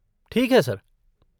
ठीक है, सर।